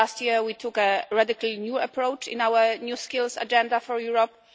Last year we took a radically new approach in our new Skills Agenda for Europe.